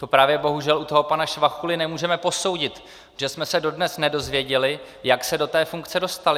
To právě bohužel u toho pana Švachuly nemůžeme posoudit, protože jsme se dodnes nedozvěděli, jak se do té funkce dostal.